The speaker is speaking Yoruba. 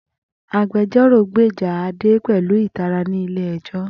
Agbẹjọ́rò gbèjà Ade pẹ̀lú ìtara ní ilé ẹjọ́